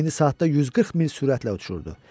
İndi saatda 140 mil sürətlə uçurdu.